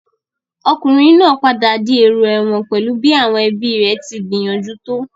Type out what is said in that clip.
Ọkùnrin náà padà di èrò ẹ̀wọ̀n pẹ̀lú bí àwọn ẹbíi rẹ̀ tí gbìyànjú tó.